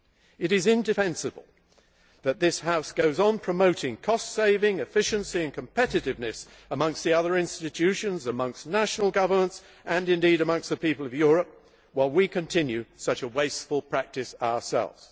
It is indefensible that this House goes on promoting cost saving, efficiency and competitiveness amongst the other institutions, amongst national governments and indeed amongst the people of Europe while we continue such a wasteful practice ourselves.